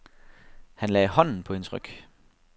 Han lagde hånden på hendes ryg.